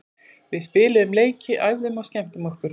Við spiluðum leiki, æfðum og skemmtum okkur.